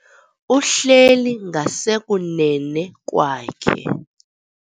Uhleli ngasekunene kwakhe.